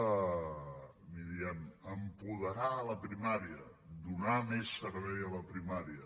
n’hi diem apoderar la primària donar més servei a la primària